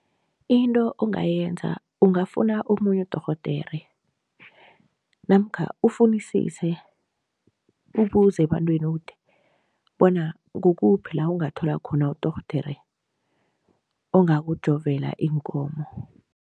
Into ongayenza, ungafuna omunye udorhodere namkha ufunisise, ubuze ebantwini ukuthi bona kukuphi la ungathola khona udorhodere ongakujovela iinkomo.